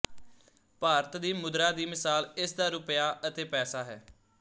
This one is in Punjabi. ਭਾਰਤ ਦੀ ਮੁਦਰਾ ਦੀ ਮਿਸਾਲ ਇਸ ਦਾ ਰੁਪਿਆ ਅਤੇ ਪੇਸਾ ਹੈ